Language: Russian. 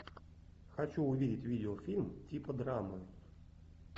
хочу увидеть видеофильм типа драмы